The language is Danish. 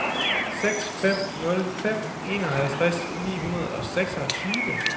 seks fem nul fem enoghalvtreds ni hundrede og seksogtyve